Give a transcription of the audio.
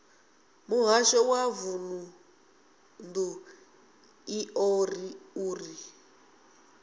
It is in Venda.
muhasho wa vundu iḽo uri